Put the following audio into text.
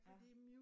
Ja